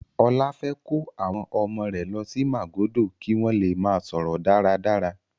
Ọlá fẹ́ kó àwọn ọmọ rẹ̀ lọ sí Màgódò kí wọ́n le máa sọ̀rọ̀ dáradára.